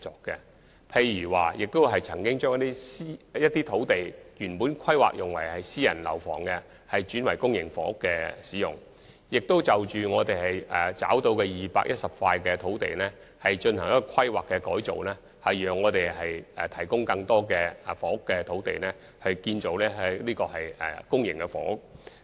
例如我們曾把一些原本規劃作私營房屋發展的土地，轉作興建公營房屋之用，並就已覓得的210幅土地進行規劃工作，藉以提供更多房屋用地，部分用於建造公營房屋。